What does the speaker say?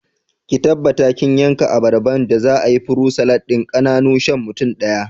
Ki tabbata kin yanka abarban da za'ayi furut salad ɗin ƙananu shan mutum ɗaya